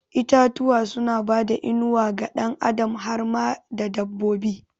Itatuwa suna bada inuwa ga ɗan adam har ma da dabbobi